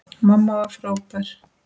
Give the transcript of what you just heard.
Mamma var frábær.